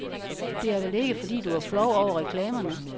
Det er vel ikke, fordi du er flov over reklamerne?